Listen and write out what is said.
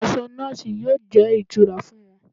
Aṣọ nọọsi yóò jẹ́ ìtura fún wọn